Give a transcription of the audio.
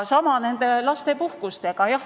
Sama lugu on lapsepuhkustega.